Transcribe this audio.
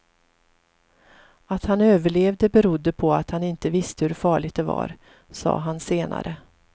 Att han överlevde berodde på att han inte visste hur farligt det var, sa han senare.